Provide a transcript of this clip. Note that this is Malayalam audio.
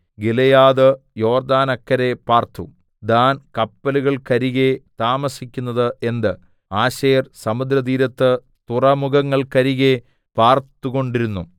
ഗിലെയാദ് യോർദ്ദാനക്കരെ പാർത്തു ദാൻ കപ്പലുകൾക്കരികെ താമസിക്കുന്നതു എന്ത് ആശേർ സമുദ്രതീരത്ത് തുറമുഖങ്ങൾക്കരികെ പാർത്തുകൊണ്ടിരുന്നു